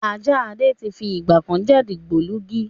Ajá Adé tí fi ìgbàkan jẹ́ dìgbòlugi